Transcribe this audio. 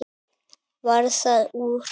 Varð það úr.